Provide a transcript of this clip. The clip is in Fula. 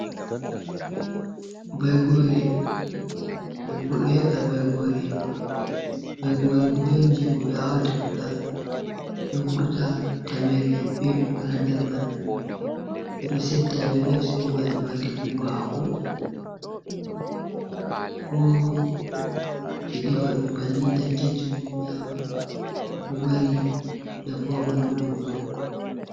Bagoore, debbo ɗo he''a Baygoore, Baygoore kuje on jey ko ɓe aawata fuɗa, ɗo vurta tamere bee ɓikkoy haa nder man, ɓe ɗo setta ɓe naftira bee maajum haa defugo haako, koo ɓe defa ɗum bannin tan keccum nyama ɗum ɗo mari nafu haa ɓanndu goɗɗo.